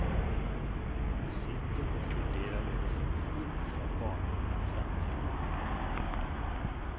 Hon sitter och funderar över sitt liv, från barndomen fram till nu.